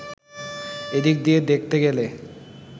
এদিক দিয়ে দেখতে গেলে